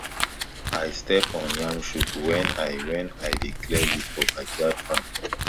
i step on yam shoot when i when i dey clear weed for backyard farm